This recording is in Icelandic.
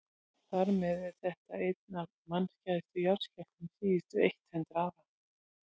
þar með er þetta einn af mannskæðustu jarðskjálftum síðustu eitt hundruð ára